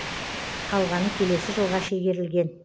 қалғаны келесі жылға шегерілген